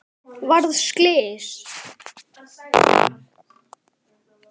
Varð slys?